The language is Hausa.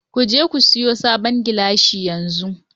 Ku je ku sayi sabon geiisha yanzu!